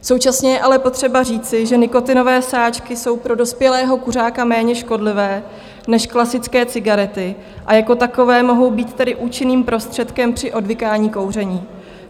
Současně je ale potřeba říci, že nikotinové sáčky jsou pro dospělého kuřáka méně škodlivé než klasické cigarety a jako takové mohou být tedy účinným prostředkem při odvykání kouření.